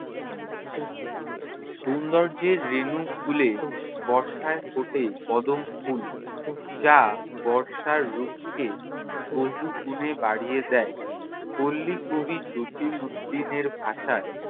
সৌন্দর্যের রেণু খুলে বর্ষায় ফোটে কদম ফুল। যা বর্ষার রূপকে বহুগুণে বাড়িয়ে দেয়। পল্লীকবি জসীম উদ্দিনের ভাষায়